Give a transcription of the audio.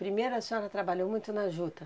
Primeiro a senhora trabalhou muito na juta?